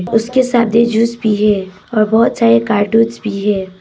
और उसके साथ जूस भी है और बहुत सारे कार्टूंस भी है।